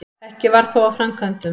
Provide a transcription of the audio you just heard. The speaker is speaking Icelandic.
Ekki varð þó af framkvæmdum.